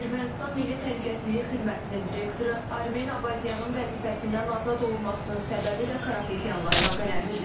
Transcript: Ermənistan Milli Təhlükəsizlik Xidmətinin direktoru Armen Abazyanın vəzifəsindən azad olunmasının səbəbi də Karapetyanla əlaqələndirilir.